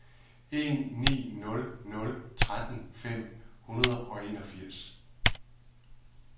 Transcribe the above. en ni nul nul tretten fem hundrede og enogfirs